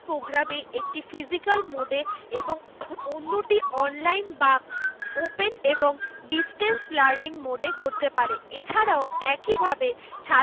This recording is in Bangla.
Programme এ একটি physicial mode এ এবং অন্যটি online বা open এবং distance learning mode এ করতে পারে। এছাড়াও একইভাবে ছাত্র